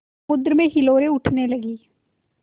समुद्र में हिलोरें उठने लगीं